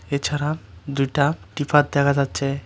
এছাড়া দুইটা ত্রিপাত দেখা যাচ্ছে।